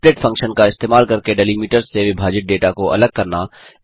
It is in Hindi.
split फंक्शन का इस्तेमाल करके डेलीमिटर्स से विभाजित डेटा को अलग करना